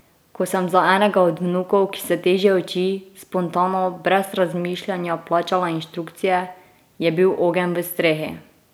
Ko sem za enega od vnukov, ki se težje uči, spontano, brez razmišljanja plačala inštrukcije, je bil ogenj v strehi!